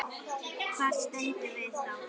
Hvar stöndum við þá?